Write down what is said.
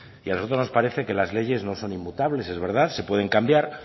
a nosotros nos parece que las leyes no son inmutables es verdad se pueden cambiar